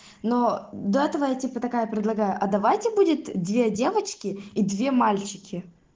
но до этого я типа такая предлагаю а давайте будет две девочки и две мальчики